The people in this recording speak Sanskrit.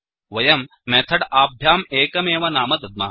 वयं मेथड् आभ्यां एकमेव नाम दद्मः